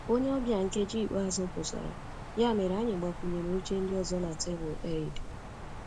Onye ọbịa nkeji ikpeazụ pụtara, ya mere anyị gbakwunyere oche ndị ọzọ na tebụl Eid